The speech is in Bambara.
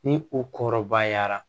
Ni o kɔrɔbayara